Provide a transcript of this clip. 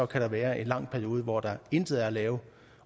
kan være en lang periode hvor der intet er at lave